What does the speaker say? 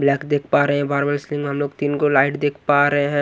Black देख पा रहे हैं बार बार इसलिए हम लोग तीन गो लाइट देख पा रहे हैं।